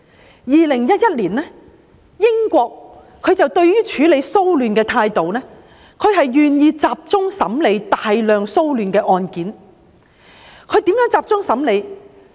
在2011年，英國處理騷亂的態度，是願意集中審理大量的騷亂案件，如何集中審理呢？